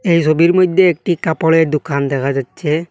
এই সবির মইধ্যে একটি কাপড়ের দুখান দেখা যাচ্ছে।